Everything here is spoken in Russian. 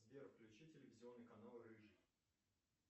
сбер включи телевизионный канал рыжий